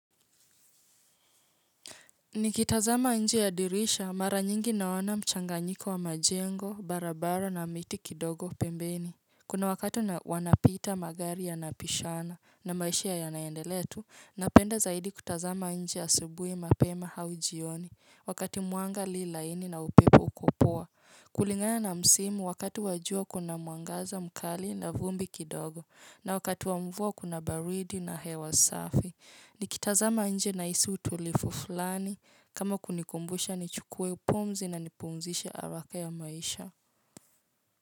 Nikitazama nje ya dirisha mara nyingi naona mchanganyiko wa majengo barabara na miti kidogo pembeni. Kuna wakati wanapita magari ya napishana na maisha ya naendelea tu napenda zaidi kutazama nje asubuhi mapema hau jioni wakati mwanga li laini na upepo uko poa. Kulingana na msimu wakati wa jua kuna mwangaza mkali na vumbi kidogo na wakati wa mvua kuna baridi na hewa safi. Nikitazama nje nahisi utulivu fulani kama kunikumbusha nichukue pumzi na nipumzishe haraka ya maisha.